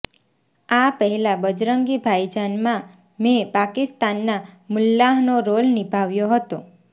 આ પહેલાં બજરંગી ભાઇજાનમાં મેં પાકિસ્તાનના મુલ્લાહનો રોલ નિભાવ્યો હતો